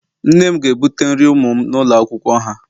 Nne m ga-ebute nri ụmụ m n'ụlọ akwụkwọ ha